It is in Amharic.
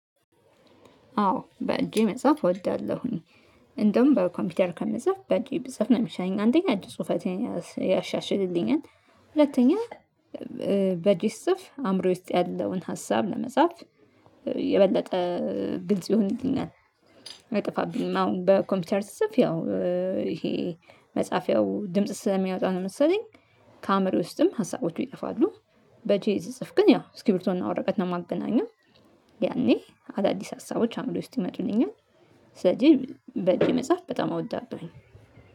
አዎ በእጄ መጽሐፍ እወዳለሁኝ። እንደውም በኮምፒውተር ከመጽሐፍ በእጄ ብጽፍ ነው የሚሻኝ አንደኛ እጂ ጽሁፌን ያሻሽልኛል ሁለተኛ በጅስ ጽፍ አእምሮዬ ውስጥ ያለውን ሀሳብ ለመጻፍ የበለጠ ግልጽ ይሆንልኛል። አጠፋብኝ አሁን በኮምፒውተር ስፍ ያው ይሄ መጽሐፍ ያው ድምጽ ስለሚያወጣ ነው መሰለኝ ከአምር ውስጥም ሀሳቦቹ ይጠፋሉ። በእጄ ስጽፍ ግን ያው እስክርቢቶና ወረቀት ነው የማገናኘው ያኔ አዳዲስ ሀሳቦች አምሮየ ውስት ይመጡልኛል። ስለዚህ በጀ መጽሐፍ በጣም እወዳለሁኝ